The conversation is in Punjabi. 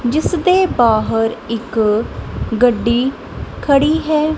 ਜਿਸ ਦੇ ਬਾਹਰ ਇੱਕ ਗੱਡੀ ਖੜੀ ਹੈ।